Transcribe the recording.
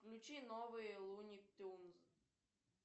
включи новые луни тюнз